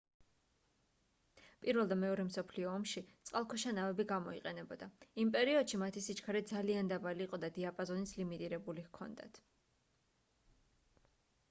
i და ii მსოფლიო ომში წყალქვეშა ნავები გამოიყენებოდა იმ პერიოდში მათი სიჩქარე ძალიან დაბალი იყო და დიაპაზონიც ლიმიტირებული ჰქონდათ